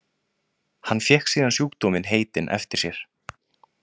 Hann fékk síðan sjúkdóminn heitinn eftir sér.